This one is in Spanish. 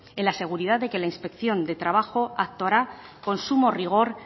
en la seguridad de que la inspección de trabajo actuará con sumo rigor